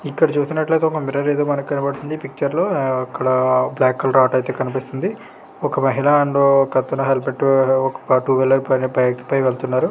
ఇక్కడ చూసినట్లయితే ఒక మిర్రర్ అయితే మనకి కనబడుతుంది పిక్చర్ లో. ఆ అక్కడ బ్లాక్ కలర్ ఆటో అయితే కన్పిస్తుంది. ఒక మహిళా అండ్ ఒకతను హెల్మెట్ ఒక టూ వీలర్ పైన బైక్ పై వెళ్తున్నారు.